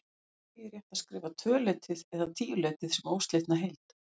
Því er rétt að skrifa tvöleytið eða tíuleytið sem óslitna heild.